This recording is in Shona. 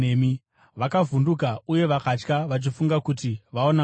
Vakavhunduka uye vakatya, vachifunga kuti vaona mweya.